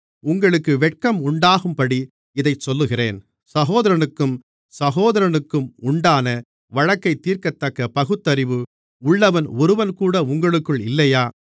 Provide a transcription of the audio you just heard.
உங்களுக்கு வெட்கம் உண்டாகும்படி இதைச் சொல்லுகிறேன் சகோதரனுக்கும் சகோதரனுக்கும் உண்டான வழக்கைத் தீர்க்கத்தக்க பகுத்தறிவு உள்ளவன் ஒருவன்கூட உங்களுக்குள் இல்லையா